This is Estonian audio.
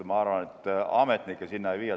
Ma arvan, et ametnikke sinna ei viida.